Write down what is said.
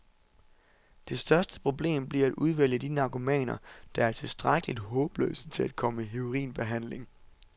Det største problem bliver at udvælge de narkomaner, der er tilstrækkeligt håbløse til at komme i heroinbehandling.